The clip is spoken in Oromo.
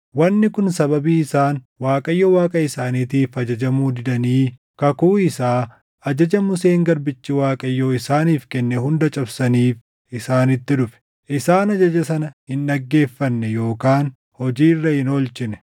Wanni kun sababii isaan Waaqayyo Waaqa isaaniitiif ajajamuu didanii kakuu isaa, ajaja Museen garbichi Waaqayyoo isaaniif kenne hunda cabsaniif isaanitti dhufe. Isaan ajaja sana hin dhaggeeffanne yookaan hojii irra hin oolchine.